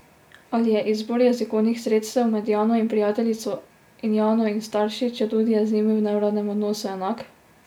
Ali je izbor jezikovnih sredstev med Jano in prijateljico in Jano in starši, četudi je z njimi v neuradnem odnosu, enak?